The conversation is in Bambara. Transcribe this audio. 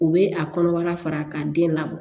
U bɛ a kɔnɔbara fara ka den labɔ